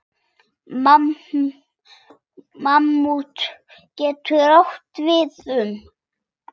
Mammút getur átt við um